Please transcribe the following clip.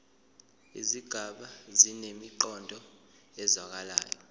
izigaba zinemiqondo ezwakalayo